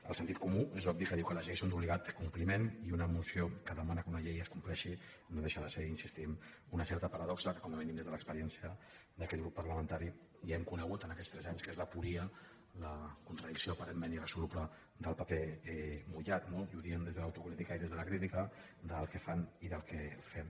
el sentit comú és obvi que diu que les lleis són d’obligat compli ment i una moció que demana que una llei es compleixi no deixa de ser hi insistim una certa paradoxa que com a mínim des de l’experiència d’aquest grup parlamentari ja hem conegut en aquests tres anys que és l’aporia la contradicció aparentment irresoluble del paper mullat no i ho diem des de l’autocrítica i des de la crítica del que fan i del que fem